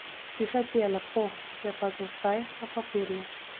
Slišati je lepo, je pa za zdaj na papirju.